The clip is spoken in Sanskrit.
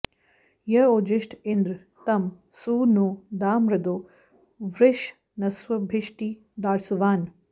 य ओजि॑ष्ठ इन्द्र॒ तं सु नो॑ दा॒ मदो॑ वृषन्स्वभि॒ष्टिर्दास्वा॑न्